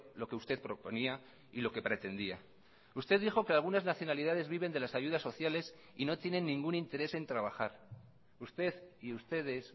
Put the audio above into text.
lo que usted proponía y lo que pretendía usted dijo que algunas nacionalidades viven de las ayudas sociales y no tienen ningún interés en trabajar usted y ustedes